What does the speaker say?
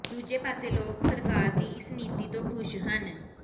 ਦੂਜੇ ਪਾਸੇ ਲੋਕ ਸਰਕਾਰ ਦੀ ਇਸ ਨੀਤੀ ਤੋਂ ਖੁਸ਼ ਹਨ